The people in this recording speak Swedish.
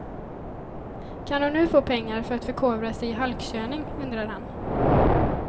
Kan hon nu få pengar för att förkovra sig i halkkörning, undrar han.